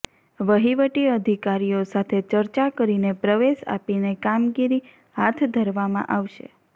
વહીવટી અધિકારીઓ સાથે ચર્ચા કરીને પ્રવેશ આપીને કામગીરી હાથ ધરવામાં આવશે